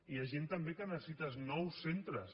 hi ha gent també que necessita els nous centres